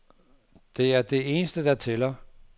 Det er det eneste, der tæller.